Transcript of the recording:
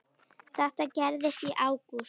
Þetta gerðist í ágúst.